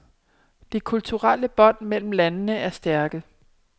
De kulturelle bånd mellem landene er stærke.